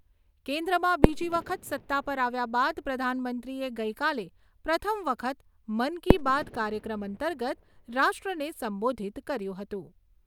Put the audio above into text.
કેન્દ્રમાં બીજી વખત સત્તા પર આવ્યા બાદ પ્રધાનમંત્રીએ ગઈકાલે પ્રથમ વખત મન કી બાત કાર્યક્રમ અંતર્ગત રાષ્ટ્રને સંબોધિત કર્યું હતું.